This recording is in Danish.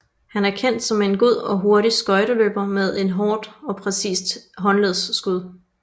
Han er kendt som en god og hurtig skøjteløber med et hårdt og præcist håndledsskud